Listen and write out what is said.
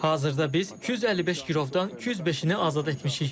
Hazırda biz 255 girovdan 205-ni azad etmişik.